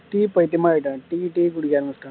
tea பைத்தியம் ஆயிட்டேன் tea tea குடிக்க ஆரம்பிச்சுட்டேன்